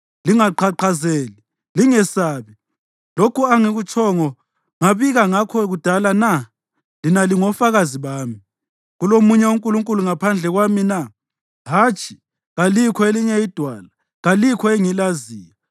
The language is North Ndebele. Lingaqhaqhazeli, lingesabi. Lokhu angikutshongo ngabika ngakho kudala na? Lina lingofakazi bami. Kulomunye uNkulunkulu ngaphandle kwami na? Hatshi, kalikho elinye iDwala; kalikho engilaziyo.”